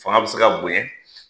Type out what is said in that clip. Fanga be se ka bonɲɛ